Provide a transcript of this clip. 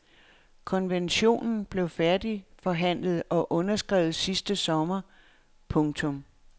Konventionen blev færdigforhandlet og underskrevet sidste sommer. punktum